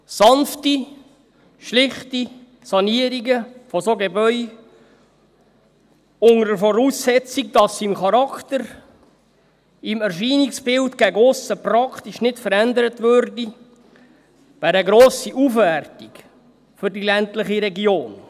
Sanfte, schlichte Sanierungen von solchen Gebäuden, unter der Voraussetzung, dass sie im Charakter, im Erscheinungsbild gegen aussen praktisch nicht verändert würden, wären eine grosse Aufwertung für die ländliche Region.